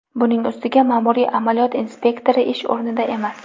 Buning ustiga ma’muriy amaliyot inspektori ish o‘rnida emas.